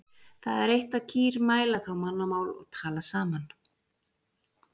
Það er eitt að kýr mæla þá mannamál og tala saman.